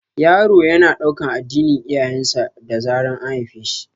Yaro yana ɗaukan addinin iyayen sa da zaran an haife shi